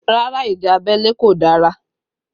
Rárá ìjà abẹ́lé kò dára